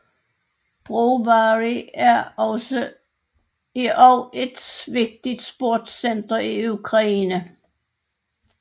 Brovary er også et vigtigt sportscenter i Ukraine